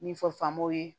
Min fɔ faamamow ye